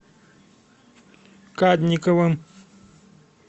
кадниковым